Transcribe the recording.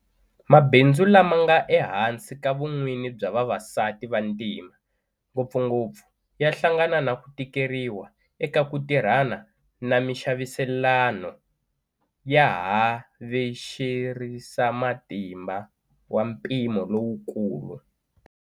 Mabindzu lama nga ehansi ka vun'wini bya vavasati vantima, ngopfungopfu, ya hlangana na ku tikeriwa eka ku tirhana na mixaviselano ya havexerisamatimba wa mpimo lowukulu.